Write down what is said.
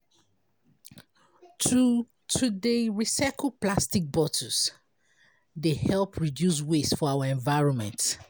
To To dey recycle plastic bottles dey help reduce waste for our environment.